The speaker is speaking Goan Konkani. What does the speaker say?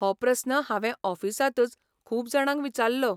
हो प्रस्न हांवें ऑफिसांतच खूब जाणांक विचाल्लो.